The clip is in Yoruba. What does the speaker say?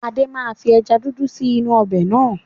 Adé máa fi ẹja dúdú sì inú ọbẹ̀ náà.